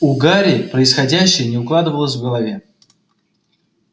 у гарри происходящее не укладывалось в голове